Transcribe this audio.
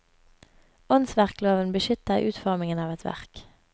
Åndsverkloven beskytter utformingen av et verk.